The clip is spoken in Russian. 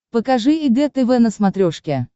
покажи эг тв на смотрешке